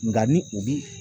Nka ni u bi